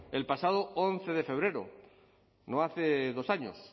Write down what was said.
el pasado once de febrero no hace dos años